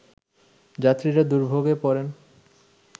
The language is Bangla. যাত্রীরা দুর্ভোগে পড়েন